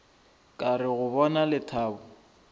ka re go bona lethabo